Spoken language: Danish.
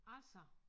Altså